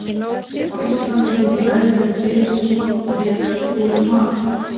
Á Íslandi fengu meðlimir teymisins nokkuð mikið af súrum mat.